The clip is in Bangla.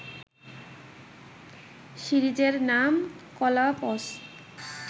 সিরিজের নাম কলাপস